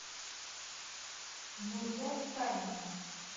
нурия витальевна